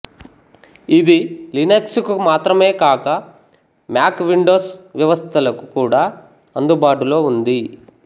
ఇది లినక్సుకు మాత్రమే కాక మ్యాక్ విండోస్ వ్యవస్థలకు కూడా అందుబాటులో ఉంది